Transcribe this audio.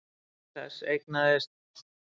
Auk þess eignaðist